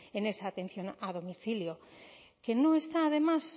en esa atención a domicilio que no está además